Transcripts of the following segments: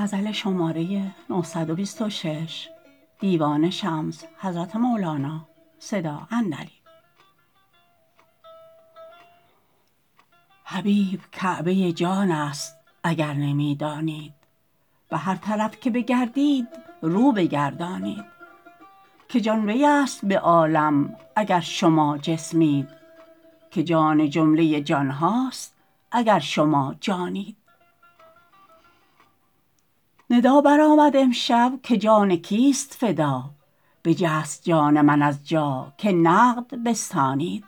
حبیب کعبه جانست اگر نمی دانید به هر طرف که بگردید رو بگردانید که جان ویست به عالم اگر شما جسمید که جان جمله جان هاست اگر شما جانید ندا برآمد امشب که جان کیست فدا بجست جان من از جا که نقد بستانید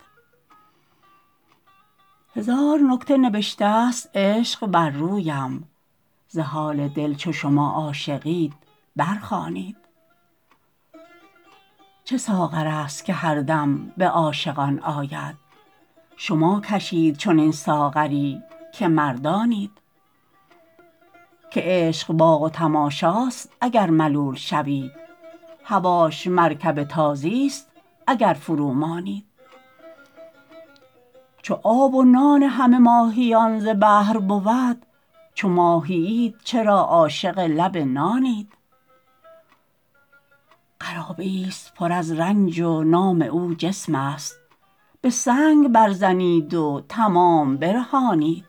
هزار نکته نبشتست عشق بر رویم ز حال دل چو شما عاشقید برخوانید چه ساغرست که هر دم به عاشقان آید شما کشید چنین ساغری که مردانید که عشق باغ و تماشاست اگر ملول شوید هواش مرکب تازیست اگر فرومانید چو آب و نان همه ماهیان ز بحر بود چو ماهیید چرا عاشق لب نانید قرابه ایست پر از رنج و نام او جسمست به سنگ بربزنید و تمام برهانید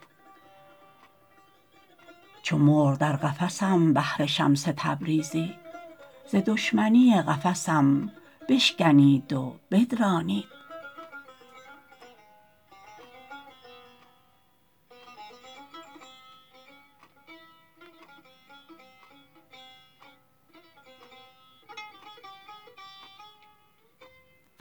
چو مرغ در قفسم بهر شمس تبریزی ز دشمنی قفسم بشکنید و بدرانید